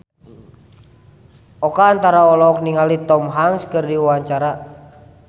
Oka Antara olohok ningali Tom Hanks keur diwawancara